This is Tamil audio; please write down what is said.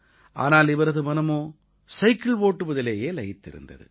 ஆனால் இவரது மனமோ சைக்கிள் ஓட்டுவதிலேயே லயித்திருந்தது